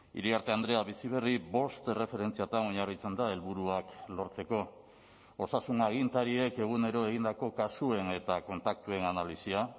iriarte andrea bizi berri bost erreferentziatan oinarritzen da helburuak lortzeko osasun agintariek egunero egindako kasuen eta kontaktuen analisia